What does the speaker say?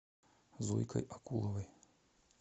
зойкой акуловой